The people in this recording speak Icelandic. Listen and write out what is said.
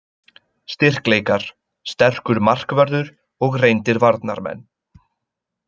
Styrkleikar: Sterkur markvörður og reyndir varnarmenn.